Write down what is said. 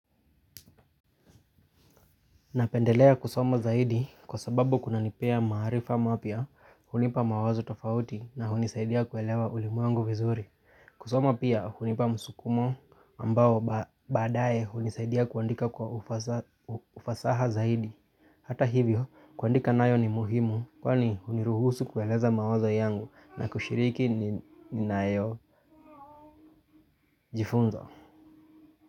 Napendelea kusoma zaidi kwa sababu kunanipea maarifa mapya hunipa mawazo tofauti na hunisaidia kuelewa ulimwengu vizuri. Kusoma pia hunipa msukumo ambao baadaye hunisaidia kuandika kwa ufasaha zaidi. Hata hivyo, kuandika nayo ni muhimu kwani huniruhusu kueleza mawazo yangu na kushiriki ninayo jifunza.